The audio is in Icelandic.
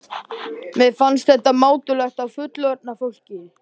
Mér fannst þetta mátulegt á fullorðna fólkið.